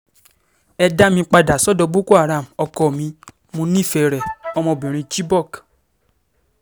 ẹ dá mi padà sọ́dọ̀ boko-haram ọkọ mi mo nífẹ̀ẹ́ rẹ̀- ọmọbìnrin chibok